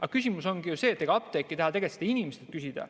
Aga küsimus ongi ju selles, et ega apteek ei taha tegelikult seda inimeselt küsida.